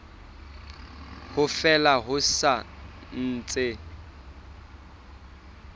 ha fela ho sa ntse